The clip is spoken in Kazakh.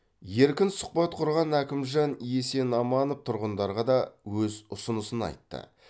еркін сұқбат құрған әкімжан есенаманов тұрғындарға да өз ұсынысын айтты